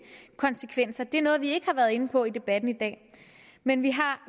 konsekvenser det er noget vi ikke har været inde på i debatten i dag men vi